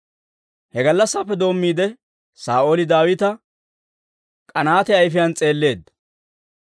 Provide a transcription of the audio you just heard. He gallassaappe doommiide, Saa'ooli Daawita k'anaate ayfiyaan s'eelleedda.